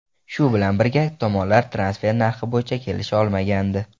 Shu bilan birga, tomonlar transfer narxi bo‘yicha kelisha olmagandi.